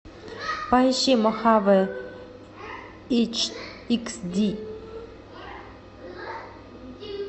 поищи мохаве икс ди